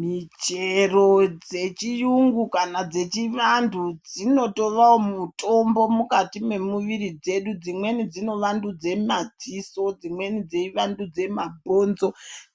Michero dzechiyungu kana dzechivantu dzinotovawo mutombo mukati memuviri dzedu, dzimweni dzinovandudza madziso, dzimweni dzeivandudza mabhbonzo,